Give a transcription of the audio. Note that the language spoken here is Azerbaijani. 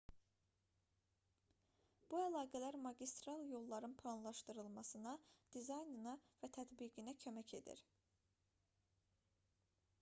bu əlaqələr magistral yolların planlaşdırılmasına dizaynına və tətbiqinə kömək edir